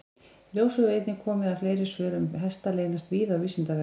Í ljós hefur einnig komið að fleiri svör um hesta leynast víða á Vísindavefnum.